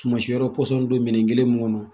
Tuma si yɔrɔ pɔsɔn don minɛn kelen kɔnɔ